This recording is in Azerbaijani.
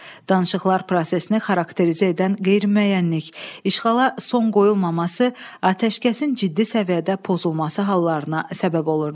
Danışıqlar prosesini xarakterizə edən qeyri-müəyyənlik, işğala son qoyulmaması atəşkəsin ciddi səviyyədə pozulması hallarına səbəb olurdu.